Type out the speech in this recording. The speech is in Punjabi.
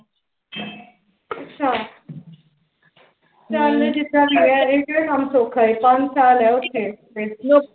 ਅੱਛਾ ਚੱਲ ਜੀਦਾ ਵੀ ਹੈ ਇਹ ਕਿਹੜਾ ਕੰਮ ਸੋਖਾ ਏ ਪੰਜ ਸਾਲ ਏ ਉਥੇ